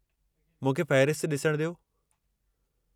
मूंखे फ़हिरिस्त ॾिसण ॾियो।